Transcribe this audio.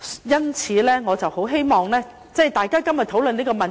因此，我很希望大家今天討論這問題時......